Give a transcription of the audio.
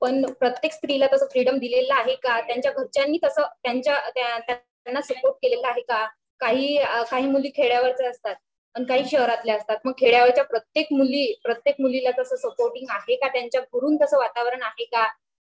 पण प्रत्येक स्त्रीला तस फ्रीडम दिलेल आहे का त्यांच्या घरच्यांनी तस त्यांना सपोर्ट केलेला आहे का काही मुली खेड्या वरच्या असतात आणि काही शहरातल्या असतात मग खेड्यावरच्या प्रत्येक मुलीला तस सपोर्टिंग आहे का त्याच्या घरून तसं वातावरण आहे का